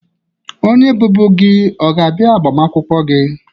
Onye bụbu gị ọ ga-abịa agbamakwụkwọ gị?